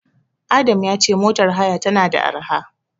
Adam ya ce motar haya tana da arha.